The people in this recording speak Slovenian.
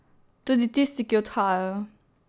Tudi tisti, ki odhajajo.